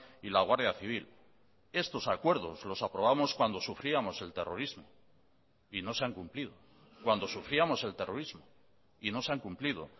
y la guardia civil estos acuerdos los aprobamos cuando sufríamos el terrorismo y no se han cumplido cuando sufríamos el terrorismo y no se han cumplido